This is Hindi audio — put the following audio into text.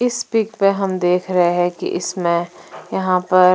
इस पिक में हम देख रहे हैं कि इसमें यहां पर--